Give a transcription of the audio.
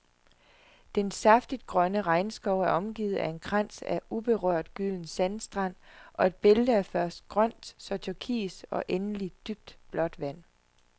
Den saftigt grønne regnskov er omgivet af en krans af uberørt, gylden sandstrand og et bælte af først grønt, så turkis og endelig dybblåt vand.